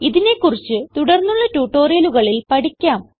ഇതിനെ കുറിച്ച് തുടർന്നുള്ള ട്യൂട്ടോറിയലുകളിൽ പഠിക്കാം